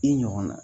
I ɲɔgɔnna